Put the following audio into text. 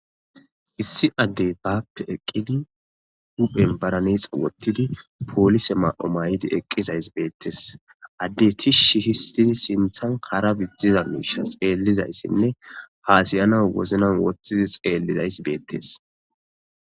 issi addey baappe eqqidi huphen baranex wottidi poolise maa7o may7idi eqqizays beettes adde tishi histidi sinthan kara biddiza miisha xeellizayssinne haasiyana woznan wothtizi xeellizayss beettes